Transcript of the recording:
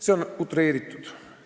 See väide on utreeritud.